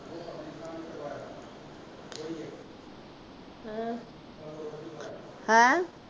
ਹੈਂਂਅ।